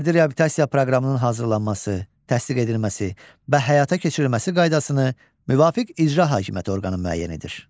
Fərdi reabilitasiya proqramının hazırlanması, təsdiq edilməsi və həyata keçirilməsi qaydasını müvafiq icra hakimiyyəti orqanı müəyyən edir.